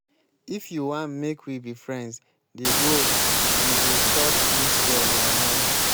if you wan make we be friends dey go you go stop dis your lie-lie.